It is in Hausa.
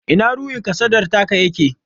Ina ruhin kasadar taka yake?